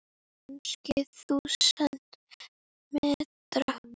Kannski þúsund metra?